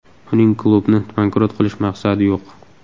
Uning klubni bankrot qilish maqsadi yo‘q.